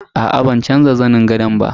Aa ban canza zanin gadon ba.